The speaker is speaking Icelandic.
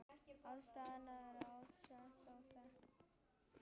Ástæðan er oftast óþekkt.